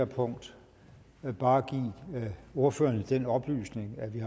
punkt bare give ordførerne den oplysning at vi